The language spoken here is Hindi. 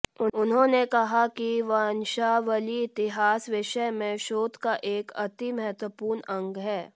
उन्होंने कहा कि वंशावली इतिहास विषय में शोध का एक अति महत्वपूर्ण अंग है